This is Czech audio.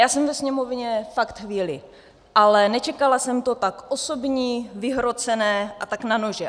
Já jsem ve Sněmovně fakt chvíli, ale nečekala jsem to tak osobní, vyhrocené a tak na nože.